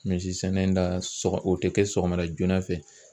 Misi sɛnɛ la sɔgɔ o tɛ kɛ sɔgɔma joona fɛ.